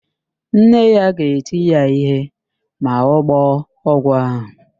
Nne ya ga-eti ya ihe ma ọ gbọọ ọgwụ ahụ.